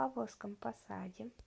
павловском посаде